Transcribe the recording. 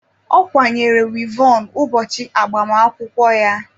Ọ kwanyere wivọn ụbọchị agbamakwụkwọ ya.